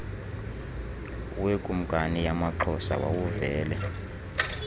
wekumkani yamaxhosa wawuvele